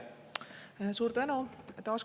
Suur tänu!